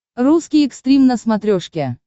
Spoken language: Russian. русский экстрим на смотрешке